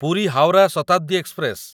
Puri Howrah Shatabdi express